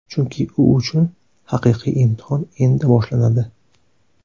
Chunki u uchun haqiqiy imtihon endi boshlanadi.